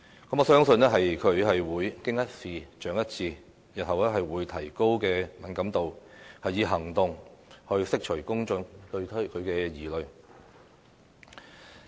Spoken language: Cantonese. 我相信，她會"經一事，長一智"，日後會提高敏感度，以行動去釋除公眾對她的疑慮。